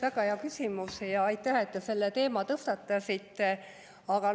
Väga hea küsimus ja aitäh, et te selle teema tõstatasite!